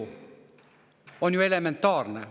See on ju elementaarne.